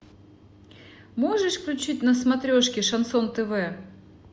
можешь включить на смотрешке шансон тв